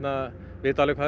vita alveg hvað